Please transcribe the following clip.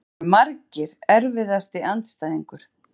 Það voru margir Erfiðasti andstæðingur?